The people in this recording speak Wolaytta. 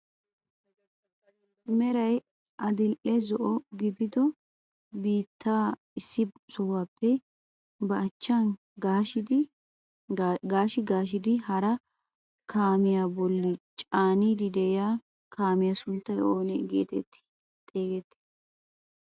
Meray adil"e zo"o gidido biittaa issi sohuwaappe ba achchaan gaashshi gaashshidi hara kaamiyaa bolli caaniidi de'iyaa kaamiyaa sunttay oona getetti xegettii?